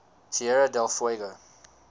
tierra del fuego